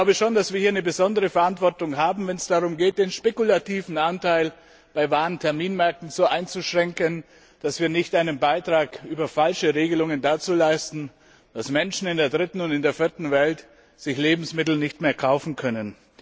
Ich glaube schon, dass wir hier eine besondere Verantwortung haben, wenn es darum geht, den spekulativen Anteil bei Warenterminmärkten so einzuschränken, dass wir nicht über falsche Regelungen einen Beitrag dazu leisten, dass sich Menschen in der dritten und vierten Welt Lebensmittel nicht mehr kaufen können.